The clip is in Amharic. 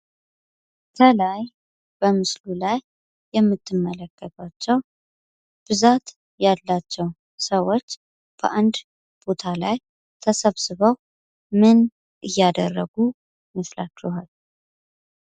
ከላይ በምስሉ ላይ የምትመለከቷቸው ብዛት ያላቸው ሰዎች በአንድ ቦታ ላይ ተሰብስበው ምን እያደረጉ ይመስላችኋል።